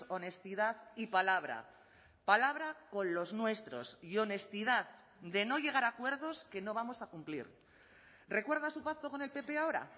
honestidad y palabra palabra con los nuestros y honestidad de no llegar a acuerdos que no vamos a cumplir recuerda su pacto con el pp ahora